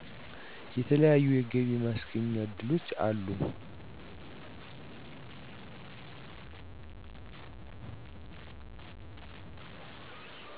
የተለያዩ የገቢ ማስገኛ እድሎች አሉ